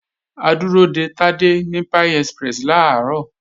A dúró de Tádé ní Pie Express làárọ̀